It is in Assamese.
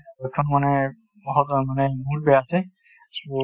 এইখন মানে বহুত বেয়া আছে